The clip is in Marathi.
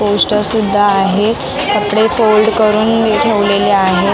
पोस्टर सुद्धा आहे कपडे फोल्ड करून ही ठेवलेले आहेत.